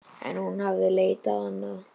En hún hafði leitað annað.